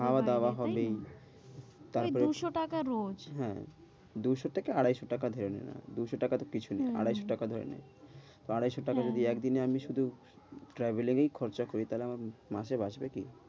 খাওয়া দাওয়া হবেই। তারপরে ওই দুশ টাকা রোজ হ্যাঁ, দুশ থেকে আড়াইশ টাকা ধরে নে না, দুশ টাকা কিছু নয় আড়াইশ টাকা ধরে নে, আড়াইশ টাকা যদি একদিনে আমি শুধু travel এই খরচা করি তাহলে আমার মাসে বাঁচবে কি।